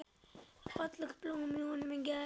Fallegt blóm í honum grær.